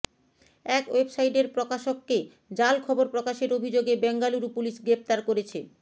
এক ওয়েবসাইটের প্রকাশককে জাল খবর প্রকাশের অভিযোগে বেঙ্গালুরু পুলিশ গ্রেফতার করেছে